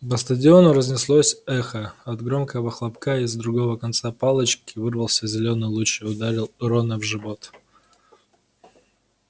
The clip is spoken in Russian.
по стадиону разнеслось эхо от громкого хлопка из другого конца палочки вырвался зелёный луч и ударил рона в живот